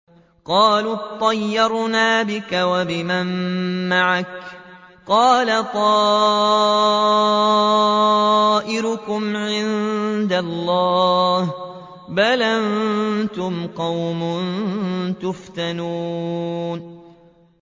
قَالُوا اطَّيَّرْنَا بِكَ وَبِمَن مَّعَكَ ۚ قَالَ طَائِرُكُمْ عِندَ اللَّهِ ۖ بَلْ أَنتُمْ قَوْمٌ تُفْتَنُونَ